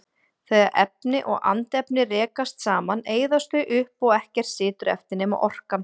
Þegar efni og andefni rekast saman eyðast þau upp og ekkert situr eftir nema orkan.